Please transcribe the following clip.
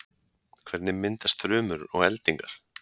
Hvernig myndast þrumur og eldingar?